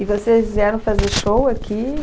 E vocês vieram fazer show aqui?